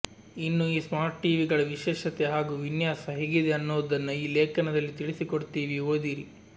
ಇನ್ನು ಈ ಸ್ಮಾರ್ಟ್ಟಿವಿಗಳ ವಿಶೇಷತೆ ಹಾಗೂ ವಿನ್ಯಾಸ ಹೇಗಿದೆ ಅನ್ನೊದನ್ನ ಈ ಲೇಖನದಲ್ಲಿ ತಿಳಿಸಿಕೊಡ್ತೀವಿ ಓದಿರಿ